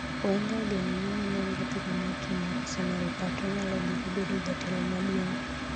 Wenga ogeno ni mane en jatugo mar tim mar Arsenal Pato nyalo biro bedo jatelo maduong'